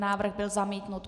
Návrh byl zamítnut.